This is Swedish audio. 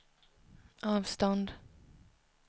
avstånd